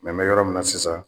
n bɛ yɔrɔ min na sisan